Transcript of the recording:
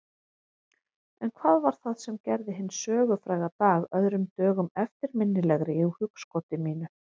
En hvað var það sem gerði hinn sögufræga dag öðrum dögum eftirminnilegri í hugskoti mínu?